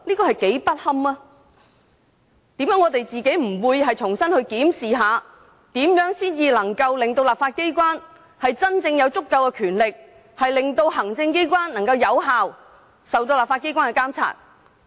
為甚麼我們不能重新檢視，如何令立法機關有足夠權力，讓行政機關受到立法機關有效監察？